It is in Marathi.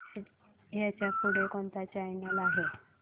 ह्याच्या पुढे कोणता चॅनल आहे